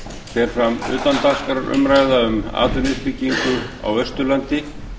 fer fram utandagskrárumræða um atvinnuuppbyggingu á vesturlandi